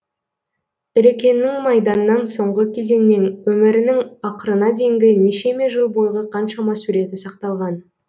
ілекеңнің майданнан соңғы кезеңнен өмірінің ақырына дейінгі нешеме жыл бойғы қаншама суреті сақталған